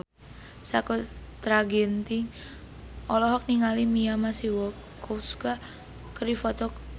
Sakutra Ginting olohok ningali Mia Masikowska keur diwawancara